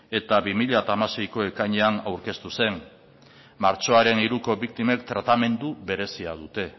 eta bi mila hamaseiko ekainean aurkeztu zen martxoaren hiruko biktimek tratamendu berezia dute